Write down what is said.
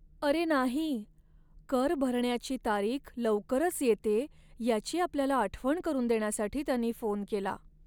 अरे नाही! कर भरण्याची तारीख लवकरच येतेय याची आपल्याला आठवण करून देण्यासाठी त्यांनी फोन केला.